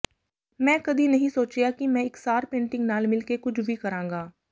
ਮੈਂ ਕਦੀ ਨਹੀਂ ਸੋਚਿਆ ਕਿ ਮੈਂ ਇਕਸਾਰ ਪੇਂਟਿੰਗ ਨਾਲ ਮਿਲ ਕੇ ਕੁਝ ਵੀ ਕਰਾਂਗਾ